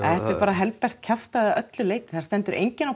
bara helbert kjaftæði að öllu leyti það stendur enginn á